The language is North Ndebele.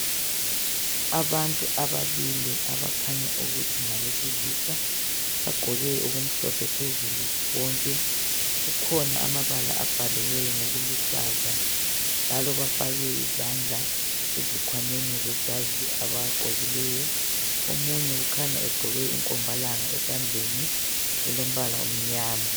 Abantu ababili abakhanya ukuthi ngabesilisa bagqoke okumhlophe phezulu bonke kukhona amabala abhaliweyo ngokuluhlaza njalo bafake izandla ezikhwameni zamajazi abagqokileyo omunye ukhanya egqoke inkombalanga esandleni elombala omnyama